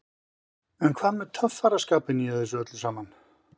En hvað með töffaraskapinn í þessu öllu saman?